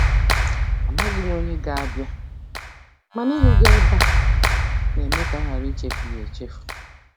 Amaghị m onye ga-abịa, mana ịhụ gị ebe a na-eme ka a ghara ịchefu ya echefu.